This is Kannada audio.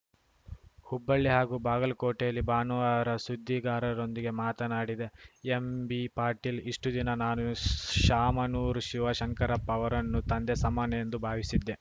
ಹುಬ್ಬಳ್ಳಿ ಹಾಗೂ ಬಾಗಲಕೋಟೆಯಲ್ಲಿ ಭಾನುವಾರ ಸುದ್ದಿಗಾರರೊಂದಿಗೆ ಮಾತನಾಡಿದ ಎಂಬಿಪಾಟೀಲ್ ಇಷ್ಟುದಿನ ನಾನು ಶಾಮನೂರು ಶಿವಶಂಕರಪ್ಪ ಅವರನ್ನು ತಂದೆ ಸಮಾನ ಎಂದು ಭಾವಿಸಿದ್ದೆ